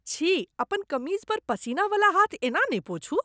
छी। अपन कमीज पर पसीना बला हाथ एना नहि पोछू।